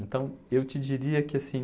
Então, eu te diria que assim...